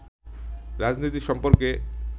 রাজনীতি সম্পর্কে